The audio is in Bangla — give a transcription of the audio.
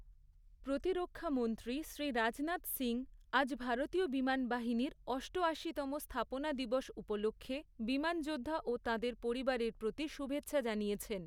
প্রতিরক্ষামন্ত্রী শ্রী রাজনাথ সিং, আজ ভারতীয় বিমান বাহিনীর অষ্টআশিতম স্থাপনা দিবস উপলক্ষে, বিমান যোদ্ধা ও তাঁদের পরিবারের প্রতি শুভেচ্ছা জানিয়েছেন।